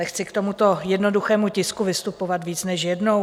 Nechci k tomuto jednoduchému tisku vystupovat víc než jednou.